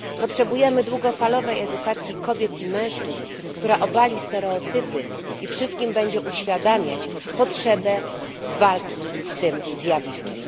Potrzebujemy długofalowej edukacji kobiet i mężczyzn, która obali stereotypy i wszystkim będzie uświadamiać potrzebę walki z tym zjawiskiem.